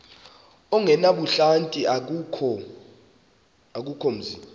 ongenabuhlanti akukho mzi